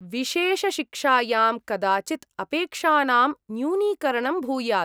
विशेषशिक्षायां कदाचित् अपेक्षानां न्यूनीकरणं भूयात्।